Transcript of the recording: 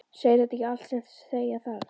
Segir þetta ekki allt sem segja þarf?